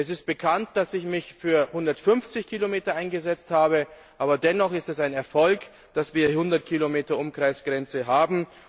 Es ist bekannt, dass ich mich für 150 Kilometer eingesetzt habe. Aber dennoch ist es ein Erfolg, dass wir die 100 Kilometer Umkreis Grenze haben.